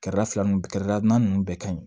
Kɛrɛda fɛlanin ninnu bɛɛ ka ɲi